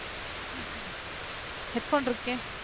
headphone இருக்கே